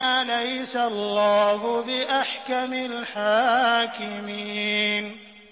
أَلَيْسَ اللَّهُ بِأَحْكَمِ الْحَاكِمِينَ